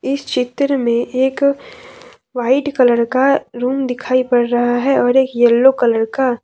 इस चित्र में एक वाइट कलर का रूम दिखाई पड़ रहा है और एक येलो कलर का।